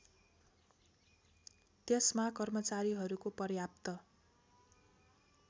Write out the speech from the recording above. त्यसमा कर्मचारीहरूको पर्याप्त